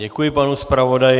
Děkuji panu zpravodaji.